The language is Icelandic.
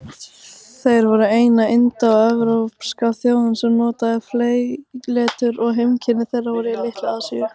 Þeir voru eina indóevrópska þjóðin sem notaði fleygletur, en heimkynni þeirra voru í Litlu-Asíu.